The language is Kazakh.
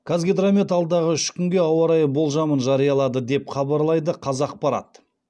қазгидромет алдағы үш күнге ауа райы болжамын жариялады деп хабарлайды қазақпарат